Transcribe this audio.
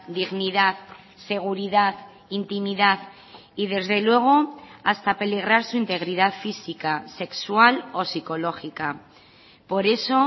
dignidad seguridad intimidad y desde luego hasta peligrar su integridad física sexual o psicológica por eso